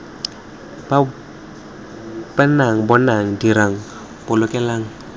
b nnang bonang dirang bolokelang